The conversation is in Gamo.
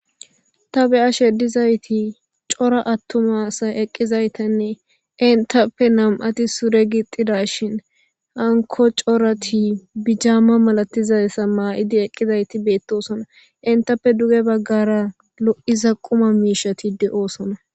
Ta beyashe dizayti coora attumasa eqqizaytenne intappe nam'ati sure gixida shin hanko corati bijaamma malatizayssa maa'idi eqqizayti beettosona intappe duge baggara lo'iza quma miishati deosona